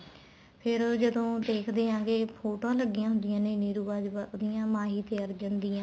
ਫ਼ੇਰ ਜਦੋਂ ਦੇਖਦੇ ਆਗੇ ਫੋਟੋਆਂ ਲੱਗੀਆਂ ਹੁੰਦੀਆਂ ਨੇ ਨੀਰੂ ਬਾਜਵਾ ਉਹਦੀਆਂ ਮਾਹੀ ਤੇ ਅਰਜੁਨ ਦੀਆ